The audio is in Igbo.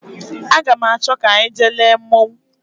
Aga m achọ ka anyị jee lee mmonwu